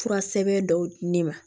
Fura sɛbɛn dɔw di ne ma